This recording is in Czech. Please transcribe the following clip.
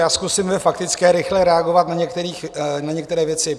Já zkusím ve faktické rychle reagovat na některé věci.